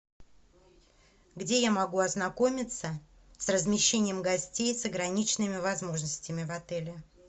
где я могу ознакомиться с размещением гостей с ограниченными возможностями в отеле